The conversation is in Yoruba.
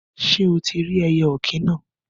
Sé o tí rí ẹyẹ òkín náà?